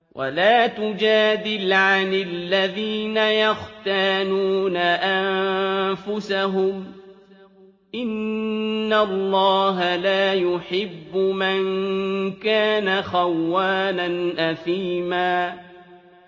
وَلَا تُجَادِلْ عَنِ الَّذِينَ يَخْتَانُونَ أَنفُسَهُمْ ۚ إِنَّ اللَّهَ لَا يُحِبُّ مَن كَانَ خَوَّانًا أَثِيمًا